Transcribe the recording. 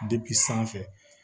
sanfɛ